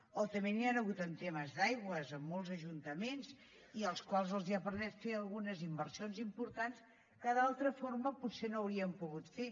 o també n’hi ha hagut en temes d’aigües en molts ajuntaments i als quals els ha permès de fer algunes inversions importants que d’altra forma potser no haurien pogut fer